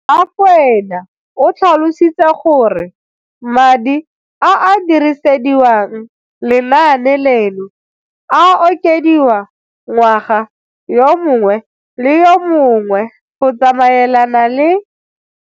Rakwena o tlhalositse gore madi a a dirisediwang lenaane leno a okediwa ngwaga yo mongwe le yo mongwe go tsamaelana le.